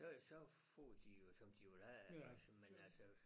Så får de jo som de vil have altså men altså